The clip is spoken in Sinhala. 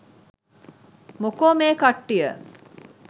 මොකෝ මේ කට්ටිය